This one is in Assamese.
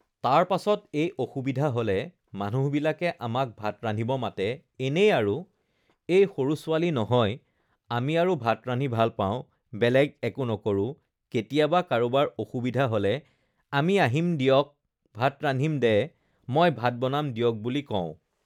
তাৰ পাছত এই অসুবিধা হ'লে মানুহবিলাকে আমাক ভাত ৰান্ধিব মাতে এনেই আৰু এই সৰু ছোৱালী নহয় আমি আৰু ভাত ৰান্ধি ভাল পাওঁ বেলেগ একো নকৰোঁ কেতিয়াবা কাৰোবাৰ অসুবিধা হ'লে আমি আহিম দিয়ওক ভাত ৰান্ধিম দে মই ভাত বনাম দিয়ক বুলি কওঁ